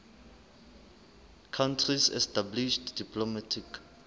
countries established diplomatic